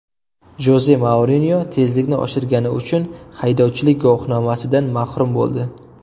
Joze Mourinyo tezlikni oshirgani uchun haydovchilik guvohnomasidan mahrum bo‘ldi.